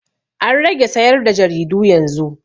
An rage sayar da jaridu yanzu.